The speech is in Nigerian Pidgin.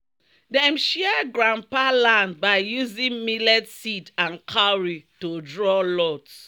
"dem share grandpa land by using millet seed and cowrie to draw lot."